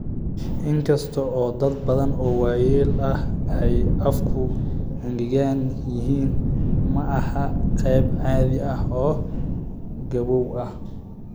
In kasta oo dad badan oo waayeel ahi ay afku engegan yihiin, ma aha qayb caadi ah oo gabowga ah.